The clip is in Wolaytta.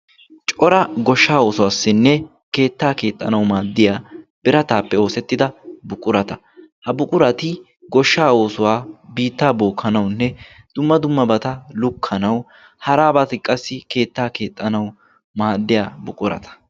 Cora goshshaa oosuwaassinne keettaa keexxanawu maaddiya birataappe oosettida buqurata. ha buqurati goshsha oosuwaa. Biittaa bookkanaunne dumma dummabata lukkanawu haraabaati qassi keettaa keexxanau maaddiya buqurata.